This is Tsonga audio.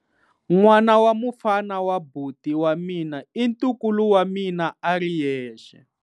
N'wana wa mufana wa buti wa mina i ntukulu wa mina a ri yexe.